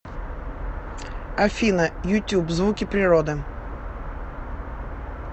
афина ютюб звуки природы